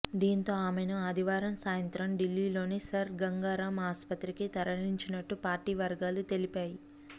దీంతో ఆమెను ఆదివారం సాయంత్రం ఢిల్లీలోని సర్ గంగారామ్ ఆస్పత్రికి తరలించినట్టు పార్టీ వర్గాలు తెలిపా